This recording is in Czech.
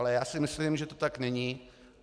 Ale já si myslím, že tomu tak není.